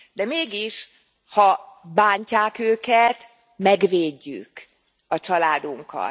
De mégis, ha bántják őket, megvédjük a családunkat.